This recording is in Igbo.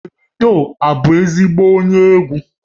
Davido bụ ezigbo onye egwu?